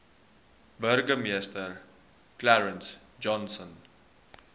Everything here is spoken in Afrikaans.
burgemeester clarence johnson